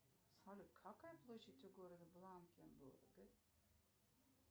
салют какая площадь у города